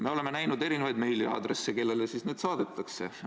Me oleme näinud erinevaid meiliaadresse, kellele need saadetakse.